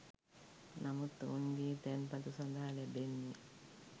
නමුත් ඔවුන්ගේ තැන්පතු සඳහා ලැබෙන්නේ